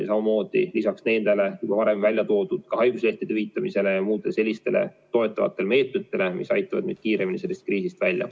Seda lisaks juba varem välja toodud haiguslehtede hüvitamisele ja muudele toetavatele meetmetele, mis aitavad meid kiiremini sellest kriisist välja.